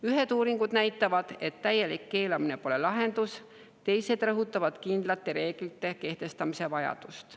Ühed uuringud näitavad, et täielik keelamine ei ole lahendus, teised rõhutavad kindlate reeglite kehtestamise vajadust.